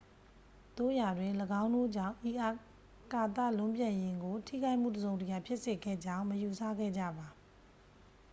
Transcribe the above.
သို့ရာတွင် ၎င်းတို့ကြောင့် ဤအာကာသလွန်းပြန်ယာဉ်ကို ထိခိုက်မှုတစ်စုံတစ်ရာ ဖြစ်စေခဲ့ကြောင်း မယူဆခဲ့ကြပါ